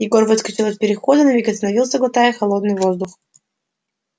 егор выскочил из перехода на миг остановился глотая холодный воздух